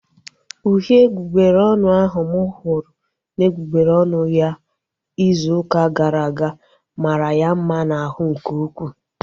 Uhie egbugbere ọnụ ahu mụ hụrụ n'egbugbere ọnụ ya izu ụka gara aga mara ya mma n'ahụ nke ukwuu